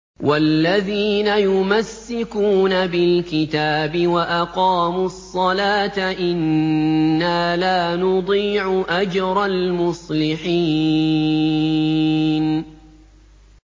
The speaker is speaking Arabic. وَالَّذِينَ يُمَسِّكُونَ بِالْكِتَابِ وَأَقَامُوا الصَّلَاةَ إِنَّا لَا نُضِيعُ أَجْرَ الْمُصْلِحِينَ